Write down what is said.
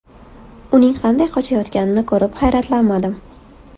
Uning qanday qochayotganini ko‘rib hayratlanmadim.